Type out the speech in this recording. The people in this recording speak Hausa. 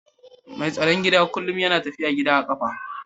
Mai tsaron gida kullum yana tafiya gida da kafa